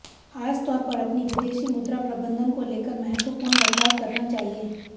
खास तौर पर अपनी विदेशी मुद्रा प्रबंधन को लेकर महत्वपूर्ण बदलाव करना चाहिए